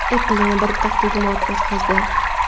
Apple yana bir taqdimot o‘tkazdi.